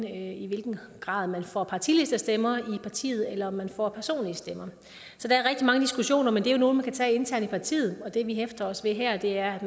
i hvilken grad man får partilistestemmer i partiet eller om man får personlige stemmer så der er rigtig mange diskussioner men det er jo nogle man kan tage internt i partiet det vi hæfter os ved her er at